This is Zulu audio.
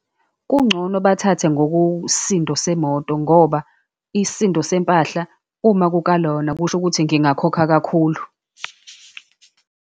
Kungcono bathathe ngokusisindo semoto, ngoba isisindo sempahla, uma kukalwa wona, kusho ukuthi ngingakhokha kakhulu.